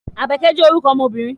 Àbákẹ́ jẹ́ orúkọ ọmọ obìnrin